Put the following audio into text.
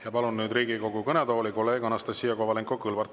Ja palun nüüd Riigikogu kõnetooli kolleeg Anastassia Kovalenko-Kõlvarti.